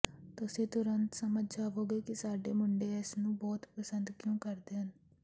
ਤੁਸੀਂ ਤੁਰੰਤ ਸਮਝ ਜਾਵੋਗੇ ਕਿ ਸਾਡੇ ਮੁੰਡੇ ਇਸ ਨੂੰ ਬਹੁਤ ਪਸੰਦ ਕਿਉਂ ਕਰਦੇ ਹਨ